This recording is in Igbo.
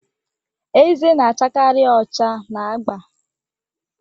Ezé na-achakarị ọcha na agba